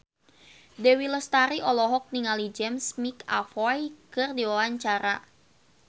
Dewi Lestari olohok ningali James McAvoy keur diwawancara